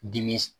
Dimi